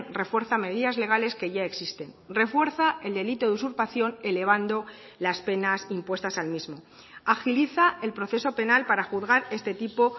refuerza medidas legales que ya existen refuerza el delito de usurpación elevando las penas impuestas al mismo agiliza el proceso penal para juzgar este tipo